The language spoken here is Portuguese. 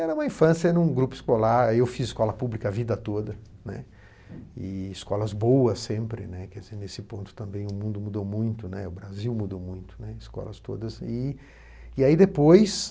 Era uma infância em um grupo escolar, eu fiz escola pública a vida toda, né, e escolas boas sempre, né, nesse ponto também o mundo mudou muito, né, o Brasil mudou muito, né, escolas todas, e aí depois,